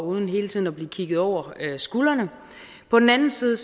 uden hele tiden at blive kigget over skulderen men på den anden side